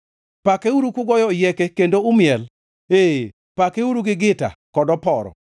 pakeuru kugoyo oyieke kendo umiel, ee, pakeuru gi gita kod oporo,